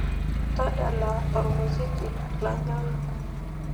tadala ormuziki lanyor